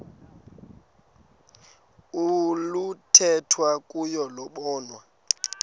oluthethwa kuyo lobonwa